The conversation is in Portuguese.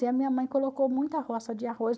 E a minha mãe colocou muita roça de arroz.